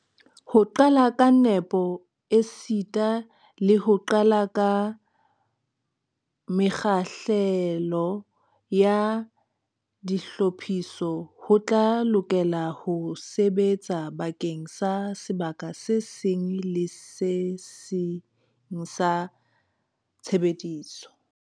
Ho qala ka nepo esita le ho qala ka mekgahlelo ya ditlhophiso ho tla lokela ho sebetsa bakeng sa sebaka se seng le se seng sa tshebediso.